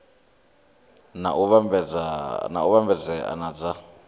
na u vhambedzea na dza